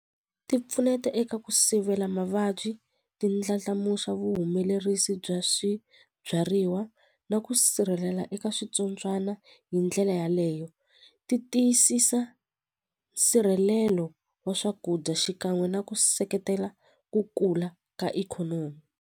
Ti pfuneta eka ku sivela mavabyi ti ndlandlamuxa vuhumelerisi bya swibyariwa na ku sirhelela eka switsotswana hi ndlela yaleyo ti tiyisisa nsirhelelo wa swakudya xikan'we na ku seketela ku kula ka ikhonomi.